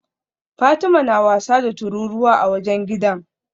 Fatima na wasa da tururuwa a wajen gidan